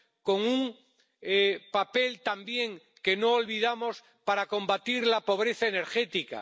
con un papel también —que no olvidamos— para combatir la pobreza energética.